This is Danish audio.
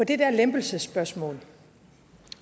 det der lempelsesspørgsmål